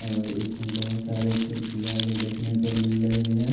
और इसमें बहोत सारे खिड़कियां भी देखने को मिल रही है।